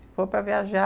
Se for para viajar...